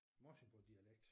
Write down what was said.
Morsingbodialekt